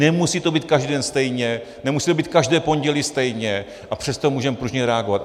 Nemusí to být každý den stejně, nemusí to být každé pondělí stejně, a přesto můžeme pružně reagovat.